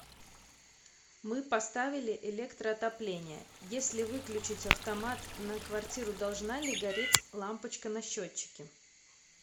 мы поставили электроотопление если выключить автомат на квартиру должна ли гореть лампочка на счетчике